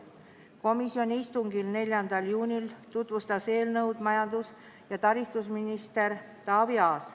Komisjoni istungil, mis toimus 4. juunil, tutvustas eelnõu majandus- ja taristuminister Taavi Aas.